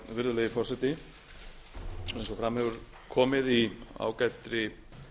virðulegi forseti eins og eða hefur komið í ágætri